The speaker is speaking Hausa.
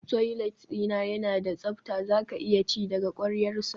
Toilet dina yana da tsafta zaka iya ci daga kwaryarsa